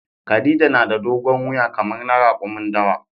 Khadija na da dogon wuya kamar na rakumin dawa.